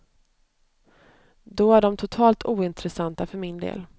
Då är de totalt ointressanta för min del.